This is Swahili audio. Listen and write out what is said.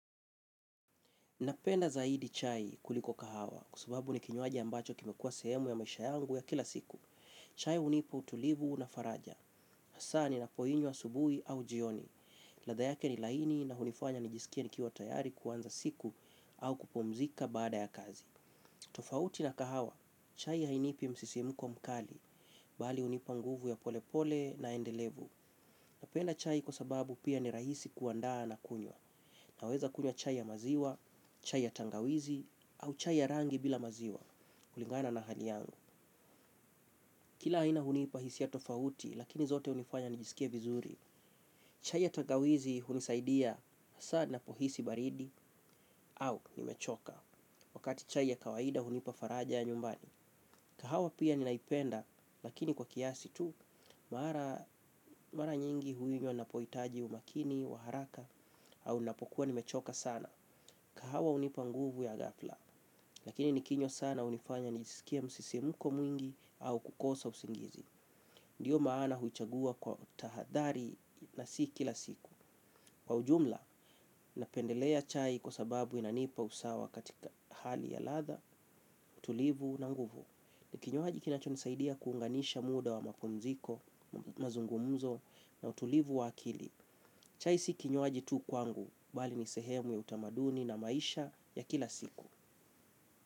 Napenda zaidi chai kuliko kahawa, kwa sababu ni kinywaji ambacho kimekuwa sehemu ya maisha yangu ya kila siku. Chai unipa utulivu na faraja. Hasa ninapoinywa asubui au jioni. Ladha yake ni laini na hunifanya nijisikie nikiwa tayari kuanza siku au kupumzika baada ya kazi. Tofauti na kahawa, chai hainipi msisimuko mkali, bali unipa nguvu ya pole pole na endelevu. Napenda chai kwa sababu pia ni rahisi kuandaa na kunywa. Naweza kunywa chai ya maziwa, chai ya tangawizi au chai ya rangi bila maziwa. Kulingana na hali yangu kila aina hunipa hisia tofauti lakini zote unifanya nijisikie vizuri. Chai ya tangawizi hunisaidia hasa napohisi baridi au nimechoka. Wakati chai ya kawaida hunipa faraja ya nyumbani. Kahawa pia ninaipenda lakini kwa kiasi tu. Mara nyingi huinywa napoitaji umakini, wa haraka au napokua nimechoka sana. Kahawa hunipa nguvu ya gahafla. Lakini nikinywa sana unifanya nisikie msisimko mwingi au kukosa usingizi. Ndiyo maana huichagua kwa utahadhari na si kila siku. Kwa ujumla, napendelea chai kwa sababu inanipa usawa katika hali ya latha, utulivu na nguvu. Ni kinywaji kinachonisaidia kuunganisha muda wa mapumziko, mazungumzo na utulivu wa akili. Chai si kinywaji tu kwangu, bali ni sehemu ya utamaduni na maisha ya kila siku.